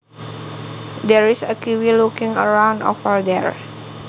There is a kiwi looking around over there